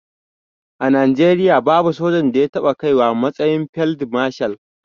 A najeriya babu sojan da ya taɓa kaiwa matsayin field marshal